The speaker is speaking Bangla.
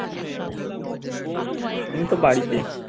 আমি তো বাড়িতে